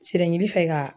Siran ɲɛji fɛ ka